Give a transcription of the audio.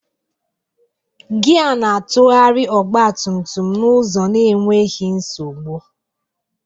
Gia na-atụgharị ọgba tum tum n'ụzọ n'enweghị nsogbu.